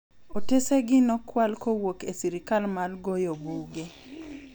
Otesegi nokwal kowuok esirkal mar goyo buge.